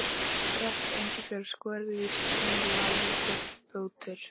Ferskt engifer, skorið í strimla, lítill bútur